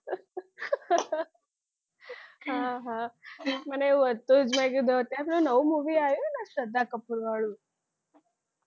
હા હા મને એવું હતું જ મેં કીધું અત્યારે પેલું નવું movie આવ્યું ને શ્રદ્ધા કપૂર વાળુ